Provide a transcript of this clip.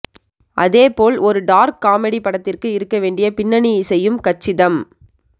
அதேபோல் ஒரு dark comedy படத்திற்கு இருக்க வேண்டிய பின்னணி இசையும் கச்சிதம்